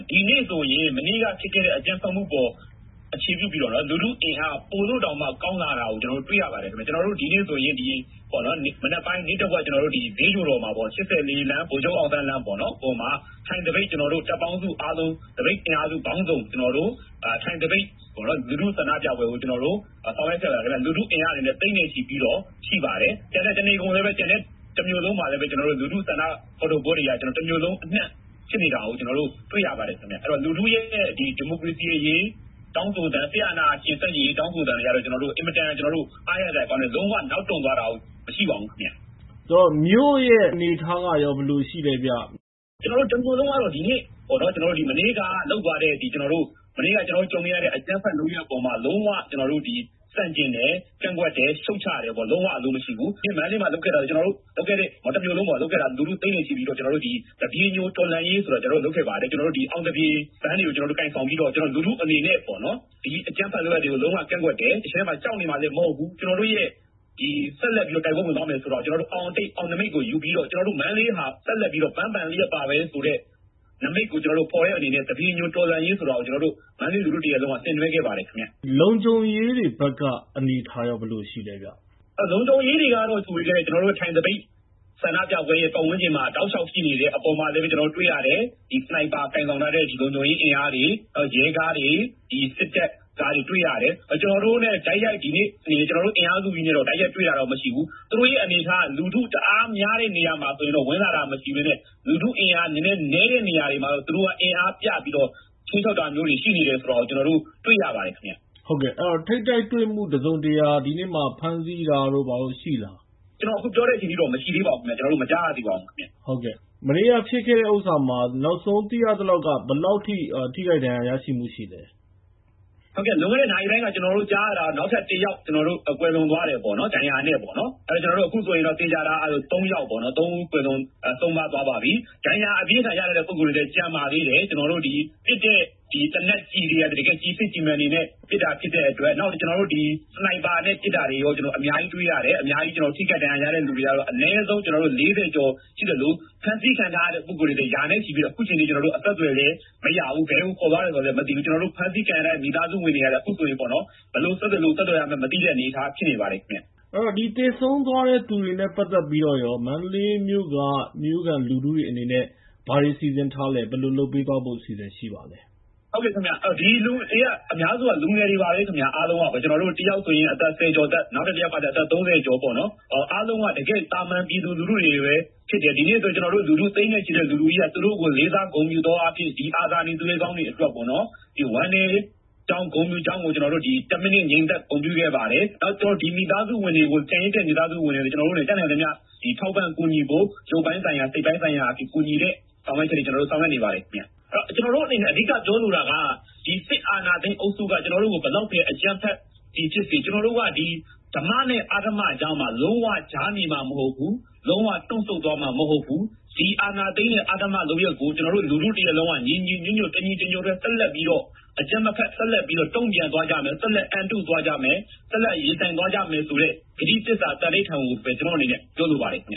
ဒီနေ့ဆိုရင် မနေ့က ဖြစ်ခဲ့တဲ့ အကြမ်းဖက်မှုအပေါ် အခြေပြုပြီးတော့ လူထုအင်အားပိုလို့တောင် ကောင်းလာတာကို ကျနော်တို့တွေ့ရပါတယ်။ ဒီနေ့ဆိုရင် မနက်ပိုင်း နေ့တဝက် ဒီဈေးချိုတော်မှာ ၈၄ လမ်း၊ ဗိုလ်ချုပ်အောင်ဆန်းလမ်းပေါ်မှာ ထိုင်သပိတ်၊ ကျနော်တို့ သပိတ် တပ်ပေါင်းစု၊ အင်အားစုပေါင်းစုံ ထိုင်သပိတ် လူထုဆန္ဒပြပွဲကို ဆောင်ရွက်ခဲ့ပါတယ်။ လူထုအင်အားသိန်းနဲ့ ချီပြီးတော့ ရှိပါတယ်။ တမြို့လုံးမှာလည်းပဲ လူထုဆန္ဒဖော်ထုတ်ပွဲတွေက တမြို့လုံးအနှံ့ဖြစ်နေတာကို ကျနော်တို့ တွေ့ရပါတယ်။ အဲဒီတော့ လူထုရဲ့ ဒီမိုကရေစီအရေး၊ စစ်အာဏာရှင် ဆန့်ကျင်ရေးတောင်းဆိုသံ အင်မတန် အားရစရာကောင်းတယ်။ လုံးဝနောက်တွန့်သွားတာ မရှိပါဘူး ခင်ဗျ။ မြို့ရဲ့ အနေအထားကရော ဘယ်လိုရှိလဲခင်ဗျ။ မနေ့က ကျနော်တို့ ကြုံလိုက်ရတဲ့ အကြမ်းဖက်လုပ်ရပ်ပေါ်မှာ လုံးဝဆန့်ကျင်တယ်၊ လုံးဝရှုတ်ချတယ်။ လုံးဝအလိုမရှိဘူး။ ပြီးတော့ မန္တလေးမှာလုပ်ခဲ့တာ တမြို့လုံးပေါ့ လူထု သိန်းနဲ့ချီပြီးတော့ သပြေညိုတော်လှန်ရေးဆိုတာ ကျနော်တို့ လုပ်ခဲ့ပါတယ်။ အောင်သပြေပန်းတွေကို ကိုင်ဆောင်ပြီးတော့ လူထုအနေနဲ့ အကြမ်းဖက်လုပ်ရပ်တွေကို လုံးဝ ကန့်ကွက်တယ်၊ ကြောက်နေမှာလည်း မဟုတ်ဘူး။ ကျနော်တို့ရဲ့ ဆက်လက်တိုက်ပွဲဝင်သွားမယ်ဆိုတာ အောင်အတိတ်၊ အောင်နိမိတ်ကို ယူပြီးတော့ မန္တလေးဟာ ဆက်လက်ပြီးတော့ ပန်းပန်လျက်ပါပဲဆိုတဲ့ နိမိတ်ကို ဖော်တဲ့အနေနဲ့ ကျနော်တို့ သပြေညိုတော်လှန်ရေးဆိုတာကို မန္တလေးလူထုတရပ်လုံးက ဆင်နွဲှခဲ့ပါတယ်ခင်ဗျ။ လုံခြုံရေးတွေဘက်က အနေအထားရော ဘယ်လိုရှိလဲခင်ဗျ။ လုံခြုံရေးတွေကတော့ ကျနော်တို့ ထိုင်သပိတ်ဆန္ဒပြပွဲ ပတ်ဝန်းကျင်မှာ တောက်လျှောက်ရှိတာ တွေ့ရတယ်။ ဒီ sniper ကိုင်ဆောင်ထားတဲ့ လုံခြုံရေးအင်အားတွေ၊ ရဲကားတွေ၊ စစ်တပ်ကားတွေ တွေ့ရတယ်။ ကျနော်တို့အင်အားစုနဲ့တော့ တိုက်ရိုက်တွေ့တာတော့မရှိဘူး။ သူတို့ရဲ့ အနေအထားက လူထုတအားများတဲ့နေရာမှာဆိုရင်တော့ ဝင်လာတာမရှိဘဲနဲ့၊ လူထုအင်အား နည်းနည်းနည်းတဲ့ နေရာတွေမှာတော့ သူတို့က အင်အားပြပြီးတော့ ခြိမ်းခြောက်တာမျိုးတွေရှိနေတယ်ဆိုတာကို ကျနော်တို့ တွေ့ရပါတယ် ခင်ဗျ။ အဲဒီတော့ ထိပ်တိုက်တွေ့မှု တစုံတရာ ဒီနေ့မှာ ဖမ်းဆီးတာတို့၊ ဘာတို့ရှိလား။ ကျနော်အခုပြောတဲ့အချိန်အထိတော့ မရှိသေးပါဘူး။ ကျနော်တို့ မကြားရသေးပါဘူးခင်ဗျ။ မနေ့က ဖြစ်ခဲ့တဲ့ကိစ္စမှာ နောက်ဆုံးသိရသလောက်က ဘယ်လောက်ထိ ထိခိုက်ဒဏ်ရာ ရရှိမှုရှိလဲ။ လွန်ခဲ့တဲ့ နာရီပိုင်းမှာ ကျနော်တို့ ကြားရတာတော့ တယောက် ကွယ်လွန်သွားတယ်ပေါ့နော်... ဒဏ်ရာနဲ့ပေါ့နော်။ အခုဆိုရင် သေချာတာက သုံး ဦး ကွယ်လွန်ဆုံးပါးသွားပါပြီ။ ဒဏ်ရာ အပြင်းအထန်ရထားတဲ့ ပုဂ္ဂိုလ်တွေလည်း ကျန်ပါသေးတယ်။ ပစ်တဲ့ကျည်တွေကလည်း တကယ့် ကျည်စစ်ကျည်မှန်တွေနဲ့ ပစ်တဲ့အတွက် နောက် sniper နဲ့ ပစ်တာတွေရော အများကြီးတွေ့ရတယ်။ အများကြီးထိခိုက်ဒဏ်ရာရတဲ့သူတွေကတော့ အနည်းဆုံး ၄၀ ကျော်ရှိသလို၊ ဖမ်းဆီးခံထားရတဲ့ပုဂ္ဂိုလ်တွေကလည်း ရာနဲ့ကျော်ရှိပြီးတော့ အခုအချိန်ထိ အဆက်သွယ်မရဘူး။ ဘယ်ကိုခေါ်သွားတယ်ဆိုတာလဲ မသိဘူး။ အဖမ်းဆီးခံရတဲ့ မိသားစုဝင်တွေကလည်း အခုဆိုရင် ဘယ်လိုဆက်သွယ်လို့ ဆက်သွယ်ရမှန်းမသိတဲ့အနေအထား ဖြစ်နေပါတယ် ခင်ဗျ။ ဒီသေဆုံးသွားတဲ့သူတွေနဲ့ ပတ်သက်ပြီးတော့ရော မန္တလေးမြို့က မြို့ခံလူထုတွေအနေနဲ့ ဘာတွေ စီစဉ်ထားလဲ၊ ဘာတွေလုပ်ပေးသွားဖို့ အစီအစဉ်ရှိပါသလဲ။ အများစုက လူငယ်တွေပါပဲ ခင်ဗျာ အားလုံးက။ တယောက်ဆိုရင် ဆယ်ကျော်သက်၊ နောက်တယောက်ကကျတော့ အသက် ၃၀ ကျော်ပေါ့နော်။ အားလုံးက တကယ့် သာမန်ပြည်သူလူထုတွေပဲ ဖြစ်တယ်။ ဒီနေ့ဆိုရင် လူထုသိန်းနဲ့ချီရှိတဲ့ လူထုကြီးက သူတို့ကို လေးစားဂုဏ်ယူသောအားဖြင့် ဒီအာဇာနည် သူရဲကောင်းတွေအတွက်ပေါ့နော်... ဝမ်းနည်းကြောင်း ဂုဏ်ယူကြောင်းကို တစ် မိနစ် ငြိမ်သက် ဂုဏ်ပြုခဲ့ပါတယ်။ ကျန်ရစ်တဲ့ မိသားစုဝင်တွေကို တတ်နိုင်သမျှ ထောက်ပန့်ကူညီဖို့ ရုပ်ပိုင်းဆိုင်ရာ၊ စိတ်ပိုင်းဆိုင်ရာ ကူညီတဲ့ ဆောင်ရွက်ချက်တွေ ကျနော်တို့ ဆောင်ရွက်နေပါတယ် ခင်ဗျ။ ကျနော်တို့အနေနဲ့ အဓိကပြောလိုတာက ဒီစစ်အာဏာသိမ်းအုပ်စုက ဘယ်လောက်ပဲ အကြမ်းဖက်သည်ဖြစ်စေ၊ ကျနော်တို့က ဒီ ဓမ္မနဲ့ အဓမ္မကြားမှာ လုံးဝ ကြား နေမှာ မဟုတ်ဘူး။ လုံးဝ တွန့်ဆုတ်သွားမှာ မဟုတ်ဘူး။ ဒီအာဏာသိမ်းတဲ့ အဓမ္မလုပ်ရပ်ကို ကျနော်တို့ လူထုတရပ်လုံးက တညီတညွတ်ထဲ ဆက်လက်ပြီးတော့ အကြမ်းမဖက် တုံ့ပြန်သွားကြမယ်၊ ဆက်လက် အန်တုသွားကြမယ်၊ ဆက်လက် ရင်ဆိုင်သွားကြမယ်ဆိုတဲ့ ကတိသစ္စာ သန္နိဌာန်ကိုပဲ ကျနော့်အနေနဲ့ ပြောလိုပါတယ